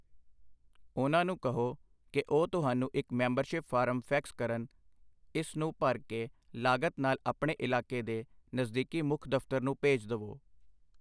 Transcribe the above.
ਉਨ੍ਹਾਂ ਨੂੰ ਕਹੋ ਕਿ ਉਹ ਤੁਹਾਨੂੰ ਇੱਕ ਮੈਂਬਰਸ਼ਿਪ ਫਾਰਮ ਫੈਕਸ ਕਰਨ, ਇਸ ਨੂੰ ਭਰ ਕੇ ਲਾਗਤ ਨਾਲ ਆਪਣੇ ਇਲਾਕੇ ਦੇ ਨਜ਼ਦੀਕੀ ਮੁੱਖ ਦਫ਼ਤਰ ਨੂੰ ਭੇਜ ਦਵੋ I